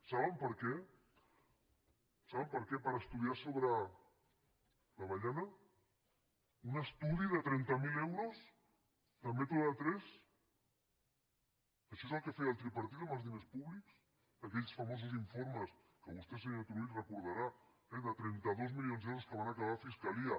saben per què saben per què per estudiar sobre l’avellana un estudi de trenta mil euros de método tres això és el que feia el tripartit amb els diners públics aquells famosos informes que vostè senyor turull recordarà eh de trenta dos milions d’euros que van acabar a fiscalia